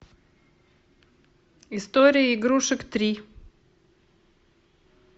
история игрушек три